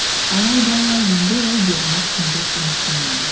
алайда енді олай бермеспін деп үміттенемін